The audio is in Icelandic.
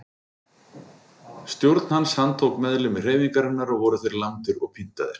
Stjórn hans handtók meðlimi hreyfingarinnar og voru þeir lamdir og pyntaðir.